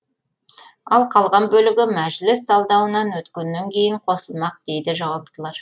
ал қалған бөлігі мәжіліс талдауынан өткеннен кейін қосылмақ дейді жауаптылар